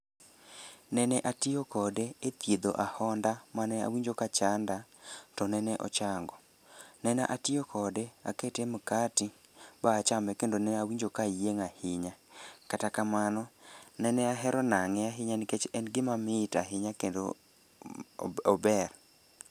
Nene atiyo kode e thiedho ahonda mane awinjo ka chanda to nene ochango. Nene atiyo kode akete mkati ba achame kendo ne awinjo ka ayieng' ahinya. Kata kamano, nene ahero nang'e ahinya nikech en gima mit ahinya kendo ober.